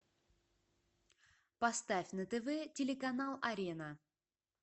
поставь на тв телеканал арена